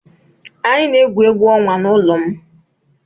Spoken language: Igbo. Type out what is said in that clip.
Anyị na-egwu egwu ọnwa n'ụlọ m.